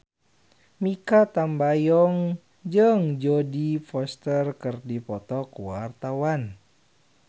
Mikha Tambayong jeung Jodie Foster keur dipoto ku wartawan